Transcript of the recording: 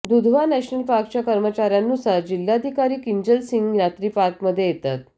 Dudhwa national पार्कच्या कर्मचाऱ्यांनुसार जिल्हाधिकारी किंजल सिंह रात्री पार्कमध्ये येतात